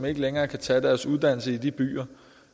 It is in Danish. ikke længere kan tage deres uddannelse i de byer